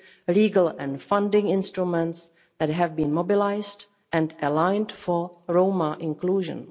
legal and funding instruments that have been mobilised and aligned in pursuit of Roma inclusion.